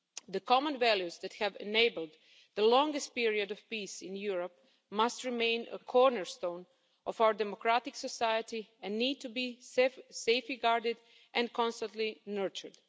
The common values that have enabled the longest period of peace in Europe must remain a cornerstone of our democratic society and need to be safely guarded and constantly nurtured.